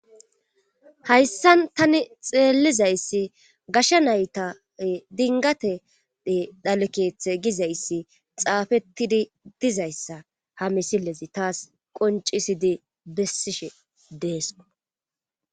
Hayssan tani xeellizayssi gashe nayta dinggate dhale keethe ee gizayssixaafettidi dizayssa ha misile zi taas qonccisidi bessishe dees.